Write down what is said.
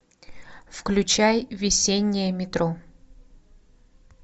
включай весеннее метро